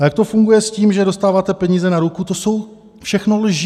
A jak to funguje s tím, že dostáváte peníze na ruku - to jsou všechno lži.